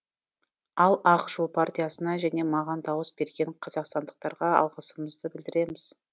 ал ақ жол партиясына және маған дауыс берген қазақстандықтарға алғысымызды білдіреміз